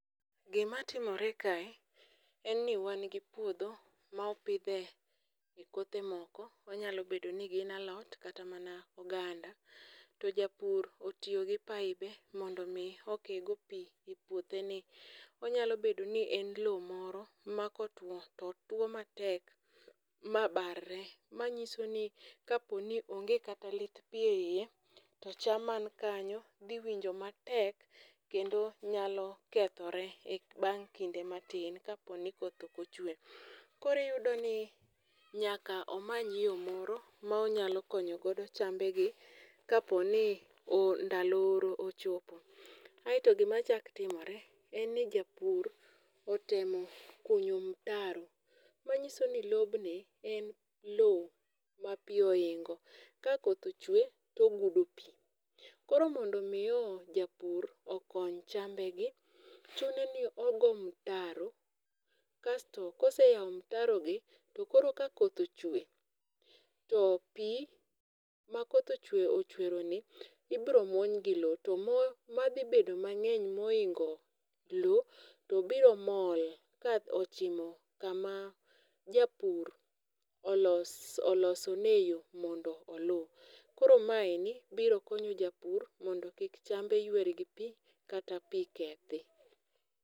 Gimatimore kae en ni wan gi puodho ma opidhe kothe moko, onyalo bedo ni gin alot kata mana oganda to japur otiyo gi pibe mondo omi okego pi e puotheni. Onyalo bedo ni en lowo moro makotuwo, to tuwo matek mabarre, manyiso ni kaponi onge kata lit pi e iye to cham man kanyo dhi winjo matek kendo nyalo kethore bang' kinde matin kaponi koth ok ochwe. Koro iyudoni nyaka omany yo moro ma onyalo konyo godo chambegi kaponi ndalo oro ochopo, aeto gimachako timore en ni japur otemo kunyo mtaro, manyiso ni lobni, en lowo ma pi ohingo. ka koth ochwe, to ogudo pi, koro mondo omi japur okony chambegi, chuno ni ogo mtaro kasto koseyawo mtarogi to koro ka koth ochwe to pi makoth ochweroni ibiro muony gi lowo to madhi bedo mang'eny mohingo lowo to biro mol kochimo kaka japur oloso ne e yo mondo oluw. Koro mae biro konyo japur mondo chambe ywer gi pi kata pi kethi.